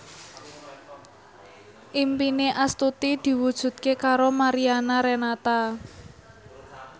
impine Astuti diwujudke karo Mariana Renata